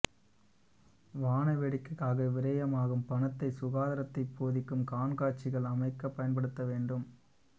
வாண வேடிக்கைக்காக விரயமாகும் பணத்தைச் சுகாதாரத்தைப் போதிக்கும் காண்காட்சிகள் அமைக்கப் பயன்படுத்தப்பட வேண்டும்